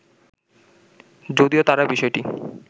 যদিও তারা বিষয়টি